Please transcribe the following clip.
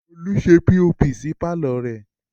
Olú ṣe POP sí pàlọ́ rẹ̀